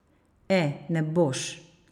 E, ne boš.